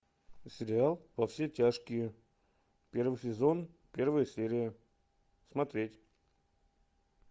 сериал во все тяжкие первый сезон первая серия смотреть